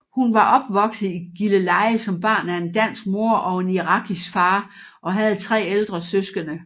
Hun var opvokset i Gilleleje som barn af en dansk mor og en irakisk far og havde tre ældre søskende